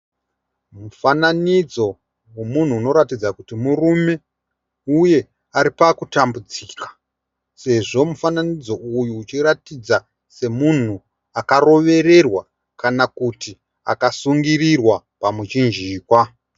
Mufananidzo wemunhu unoratidza kuti murume uye aripakutambudzika sezvo mufananidzo uyu uchiratidza semunhu akarovererwa kana kuti akasungirirwa pamuchinjikwa.